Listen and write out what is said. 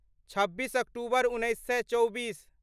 छब्बीस अक्टूबर उन्नैस सए चौबीस